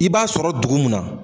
I b'a sɔrɔ dugu mun na.